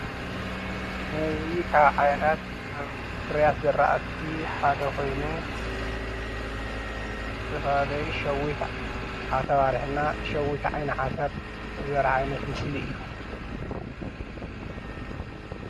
እዚ ካብ ዓይነታት ፍርያት ዝርኣቲ ሓደ ኮይኑ ዝተፈላለዩ ሸዊት ዓተባሕሪ እና ሸዊት ዓይኒ ዓተር ዘርኢ ምስሊ እዩ፡፡